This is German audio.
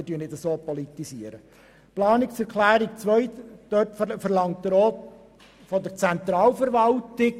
Mit der zweiten Planungserklärung verlangt Grossrat Brönnimann ebenfalls Einsparungen bei der Zentralverwaltung.